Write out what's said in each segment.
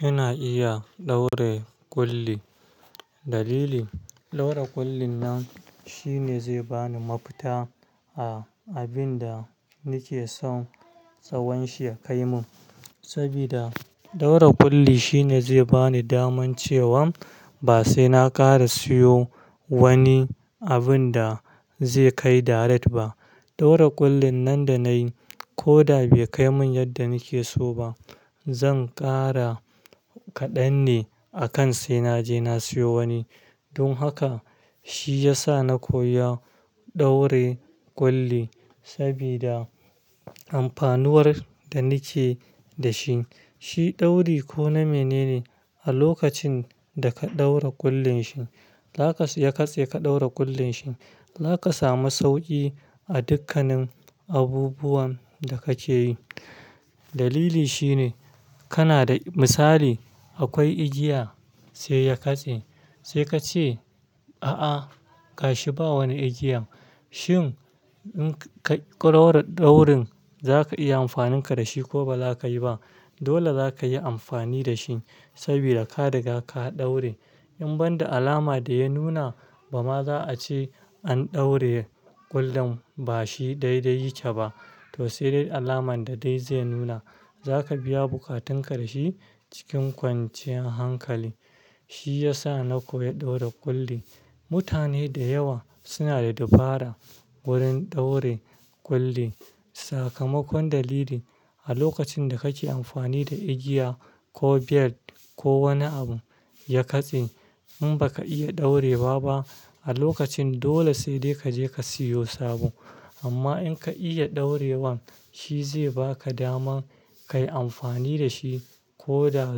Ina iya ɗaure kulli. Dalili, ɗaura kullin nan shine zai bani mafita a abin da nake so tsawon shi ya kai min. Sabida ɗaura kulli shine zai bani daman cewan ba sai na ƙara siyo wani abun da zai kai daret ba. Ɗaura kullin nan da nayi ko da bai kai min yadda nake so ba, zan ƙara kaɗan ne akan sai naje na siyo wani. Dun haka shi ya sa na koya ɗaure kulli sabida amfanuwar da nike da shi. Shi dauri ko na mene ne a lokacin da ka ɗaura kullin shi, ya katse ka ɗaura kullin shi, zaka samu sauƙi a dukkanin abubuwan da kake yi. Dalili shine kana da misali akwai igiya sai ya katse, sai kace a a gashi ba wani igiya. Shin in ka ɗaurin zaka iya amfaninka da shi ko baza ka yi ba. Dole zaka yi amfani da shi sabida ka riga ka ɗaure. In ban da alama da ya nuna bama za a ce an daure ƙullun bashi daidai yake ba to sai dai alamar da dai zai nuna. Zaka biya buƙatunka da shi cikin kwanciyar hankali. Shi ya sa na koyi ɗaura kulli. Mutane da yawa suna da dabara wurin ɗaure kulli. Sakamakon dalili a lokacin da kake amfani da igiya ko belt ko wani abu ya katse in baka iya ɗaure wa ba ba a lokacin dole sai dai kaje ka siyo sabo. Amma in ka iya ɗaurewan shi zai baka daman kayi amfani da shi ko da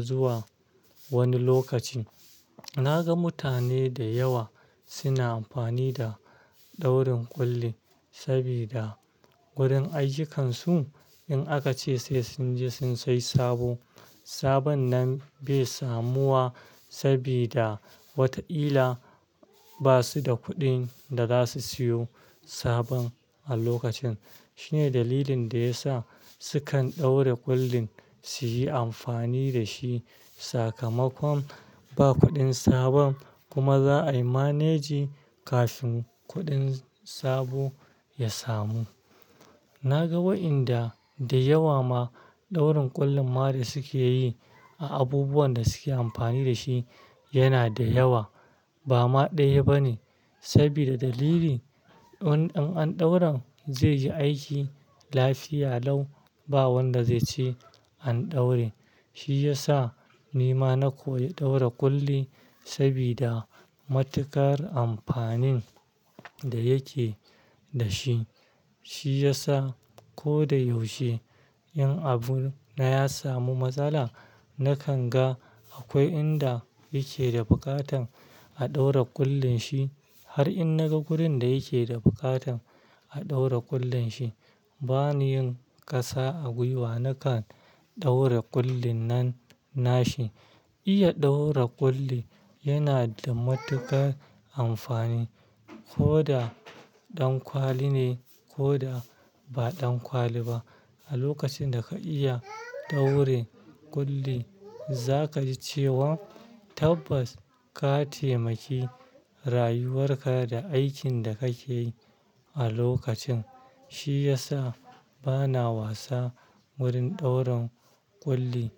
zuwa wani lokaci. Na ga mutane da yawa suna amfani da daurin kulli sabida wurin ayyukansu in aka ce sai sun je sun sayi sabo. Sabon nan bai samu wa sabida wataƙila basu da kuɗin da za su siyo sabon a lokacin. Shine dalilin da ya sa su kan ɗaura kullin suyi amfani da shi. Sakamakon ba kuɗin sabon kuma za aimanage kafin kuɗin sabo ya samu. Na ga wa'inda da yawa ma ɗaurin kullin ma da suke yi a abubuwan da suke amfani da shi yana da yawa bamma ɗaya ba ne. Sabida dalili, in an ɗaura zai yi aiki lafiya lau ba wanda zai ce an ɗaure. Shi ya sa ni ma na koyi ɗaura kulli sabida matuƙar amfanin da yake da shi. Shi ya sa ko da yaushe in abu na ya samu matsala nakan ga akwai inda yake da buƙatan a ɗaura ƙullin shi. Har in naga wurin da yake da buƙatan a ɗaura kullun shi bani yin ƙasa a gwiwa nakan ɗaura ƙullin nan nashi. Iya ɗaura ƙulli yana da matuƙar amfani ko da ɗan kwali ne ko da ba ɗan kwali ba. A lokacin da ka iya ɗaure kulli zaka ji cewan tabbas ka taimaki rayuwar ka da aikin da kake yi a lokacin. Shi ya sa bana wasa wurin ɗaurin kulli.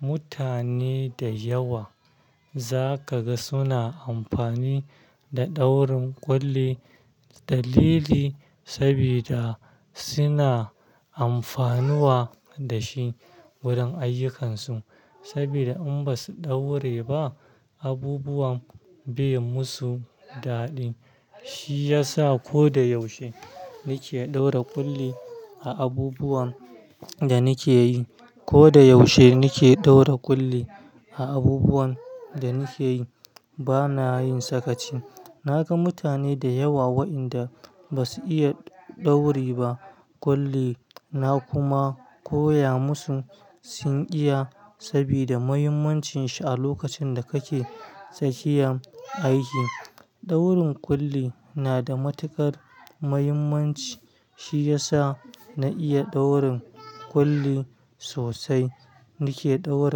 Mutane da yawa zaka ga suna amfani da ɗaurin kulli dalili sabida suna amfanuwa da shi wurin ayyukansu. Sabida in basu ɗaure ba abubuwan bai musu daɗi. Shi ya sa ko da yaushe nike ɗaura kulli a abubuwan da nike yi. Ko da yaushe nike ɗaura ƙulli a abubuwan da nike yi bana yin sakaci. Na ga mutane da yawa wa'inda basu iya ɗaure ba kulli na kuma koya musu sun iya sabida muhimmancin shi a lokacin da kake tsakiyan aiki. Ɗaurin ƙulli na da matuƙar muhimmanci. Shi ya sa na iya ɗaurin ƙulli sosai. Nike ɗaura--